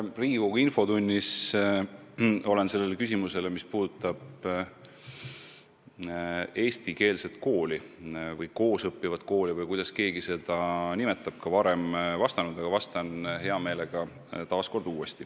Ma olen Riigikogu infotunnis küsimusele eestikeelse kooli või koos õppimise kooli kohta – kuidas keegi seda nimetab – juba vastanud, aga vastan hea meelega uuesti.